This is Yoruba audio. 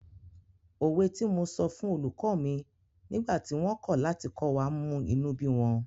Òwe tí mo sọ fún olùkọ́ mi nígbà tí wọ́n kọ̀ láti kọ́ wa mú inú bí wọn